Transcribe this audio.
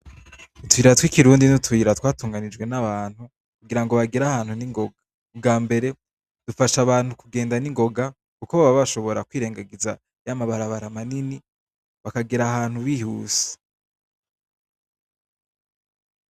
utuyira tw'ikirundi n'utuyira twatunganijwe n'abantu kugirango bagere ahantu ningoga ubwambere dufasha abantu kugenda ningoga kuko baba bashobora kwirengagiza ya mabarabara manini bakagera ahantu bihuse.